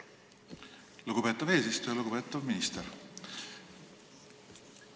Lugupeetav minister!